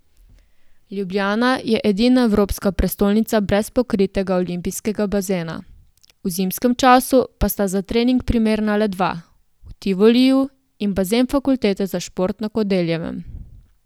Ljubljana je edina evropska prestolnica brez pokritega olimpijskega bazena, v zimskem času pa sta za trening primerna le dva, v Tivoliju in bazen fakultete za šport na Kodeljevem.